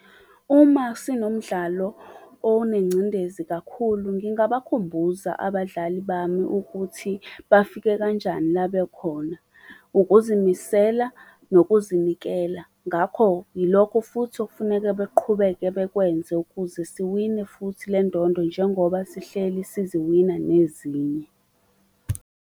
Uma sinomdlalo onengcindezi kakhulu, ngingabakhumbuza abadlali bami ukuthi bafike kanjani la bekhona. Ukuzimisela, nokuzinikela ngakho, yilokho futhi ok'funeke beqhubeke bekwenze ukuze siwine futhi le ndondo, njengoba sihleli siziwina nezinye.